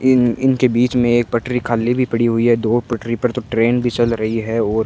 इनके बीच में एक पटरी खाली भी पड़ी हुई है दो पटरी पर तो ट्रेन भी चल रही है और--